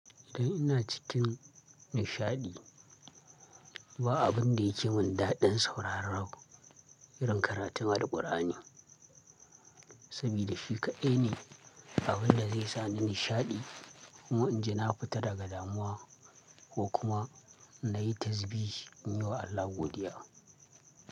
Idan ina cikin nishaɗi, ba abun da yake mun daɗin sauraro irin karatun Alqur'ani. Saboda shi kaɗai ne abin da zai sa ni nishaɗi kuma in jinaƙuta daga damuwa ko kuma na yi tasbiyi in yi wa Allah godiya.